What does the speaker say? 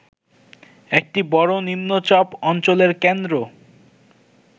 একটি বড় নিম্নচাপ অঞ্চলের কেন্দ্র